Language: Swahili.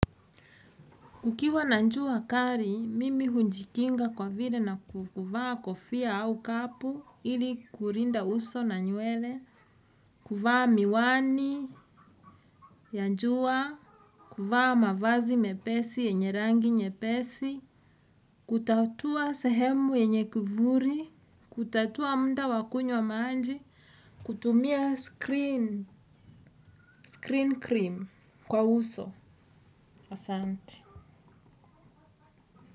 Kukiwa na jua kali, mimi hujikinga kwa vile na kuvaa kofia au cap ili kulinda uso na nywele. Kuvaa miwani ya jua, kuvaa mavazi nyepesi yenye rangi nyepesi. Kutafutwa sehemu yenye kivuli, kutatua muda wakunywa maji, kutumia screen cream kwa uso asante.